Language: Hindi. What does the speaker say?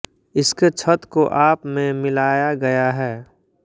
इसके छत को आप में मिलाया गया है